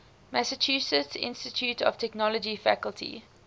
massachusetts institute of technology faculty